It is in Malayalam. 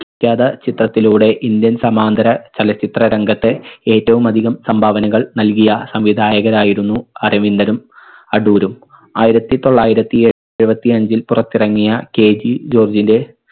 വിഖ്യാത ചിത്രത്തിലൂടെ indian സമാന്തര ചലച്ചിത്ര രംഗത്തെ ഏറ്റവും അധികം സംഭാവനകൾ നൽകിയ സംവിധായകരായിരുന്നു അരവിന്ദനും അടൂരും. ആയിരത്തി തൊള്ളായിരത്തി എഴുപത്തി അഞ്ചിൽ പുറത്തിറങ്ങിയ KG ജോർജിന്റെ